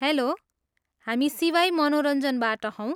Hello, हामी सिवाई मनोरञ्जनबाट हौँ।